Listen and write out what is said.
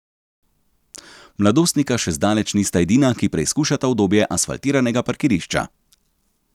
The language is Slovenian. Mladostnika še zdaleč nista edina, ki preizkušata udobje asfaltiranega parkirišča.